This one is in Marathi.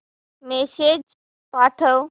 मेसेज पाठव